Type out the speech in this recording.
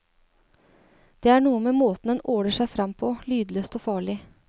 Det er noe med måten den åler seg frem på, lydløst og farlig.